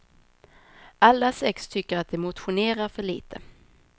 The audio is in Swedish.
Alla sex tycker att de motionerar för lite.